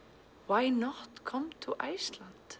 why not come to Iceland